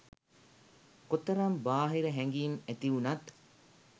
කොතරම් බාහිර හැඟිම් ඇතිවුනත්